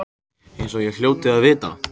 Eins og ég hljóti að vita.